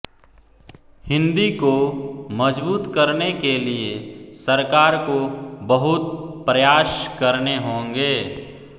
हिंदी को मजबूत करने के लिए सरकार को बहुत प्रयास करने होंगे